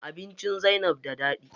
Abinci Zainab da daɗi.